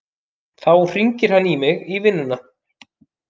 Þá hringir hann í mig í vinnuna.